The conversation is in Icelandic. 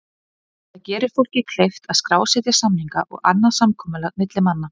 Það gerir fólki kleift að skrásetja samninga og annað samkomulag milli manna.